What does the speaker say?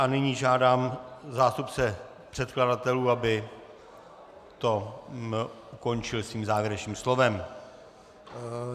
A nyní žádám zástupce předkladatelů, aby to ukončil svým závěrečným slovem.